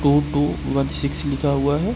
To two one six लिखा हुआ है।